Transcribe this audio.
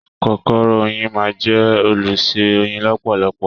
Kòkòrò oyin máa jẹ olùṣe oyin lọpọlọpọ.